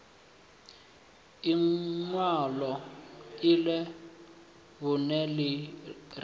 inwalo lṅa vhunṋe ḽi re